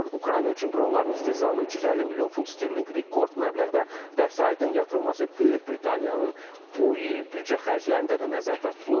Ukrayna üçün dronların istehsalına 350 milyon funt sterlinq rekord məbləğdə vəsaitin yatırılması Böyük Britaniyanın bu il büdcə xərclərində də nəzərdə tutulub.